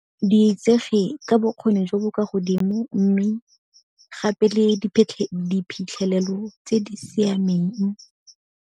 Di itsege ka bokgoni jo bo kwa godimo mme gape le diphitlhelelo tse di siameng.